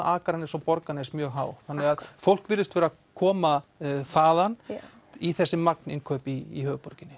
Akranes og Borgarnes mjög há þannig að fólk virðist vera að koma þaðan í þessi magninnkaup í höfuðborginni